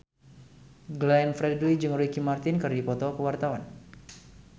Glenn Fredly jeung Ricky Martin keur dipoto ku wartawan